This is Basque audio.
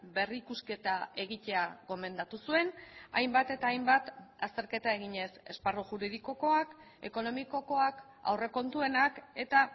berrikusketa egitea gomendatu zuen hainbat eta hainbat azterketa eginez esparru juridikokoak ekonomikokoak aurrekontuenak eta